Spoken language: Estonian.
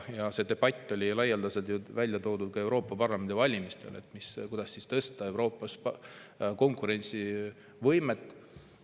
Ka Euroopa Parlamendi valimiste ajal käis laialdane debatt selle üle, kuidas tõsta Euroopas konkurentsivõimet.